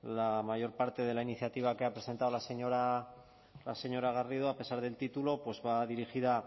la mayor parte de la iniciativa que ha presentado la señora la señora garrido a pesar del título va dirigida